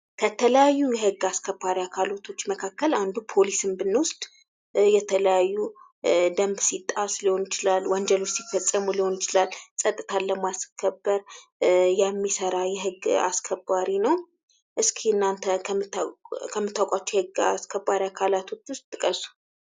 ከተለያዩ የህግ አስከባሪዎች መካከል ፖሊስን ብንወስድ የተለያዩ ደንብ ሲጣስ ሊሆን ይችላል ወንጀሎች ሲፈፀሙ ሊሆን ይችላል ፀጥታን ለማስከበር የሚሰራ የህግ አስከባሪ ነው። እስኪ እናተ ከምታውቋቸው የህግ አስከባሪዎች መካከል ጥቀሱ።